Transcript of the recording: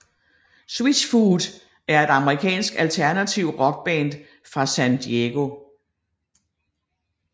Switchfoot er et amerikansk alternativ rockband fra San Diego